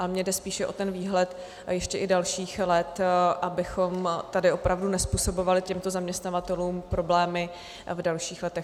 Ale mně jde spíše o ten výhled a ještě i dalších let, abychom tady opravdu nezpůsobovali těmto zaměstnavatelům problémy v dalších letech.